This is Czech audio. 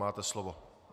Máte slovo.